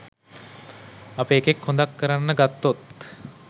අපේ එකෙක් හොඳක් කරන්න ගත්තොත්